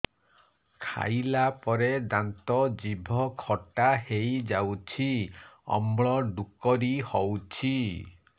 ଖାଇଲା ପରେ ଦାନ୍ତ ଜିଭ ଖଟା ହେଇଯାଉଛି ଅମ୍ଳ ଡ଼ୁକରି ହଉଛି